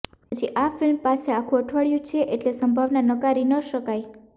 હજી આ ફ્લ્મિ પાસે આખું અઠવાડિયું છે એટલે સંભાવના નકારી ન શકાય